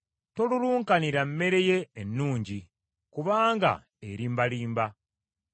Tolulunkanira mmere ye ennungi, kubanga erimbalimba.